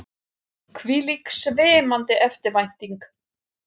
Hvílík svimandi eftirvænting!